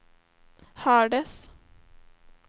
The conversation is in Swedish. hördes